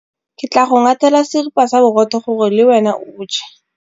Ke tla go ngathela seripa sa borotho gore le wena o je.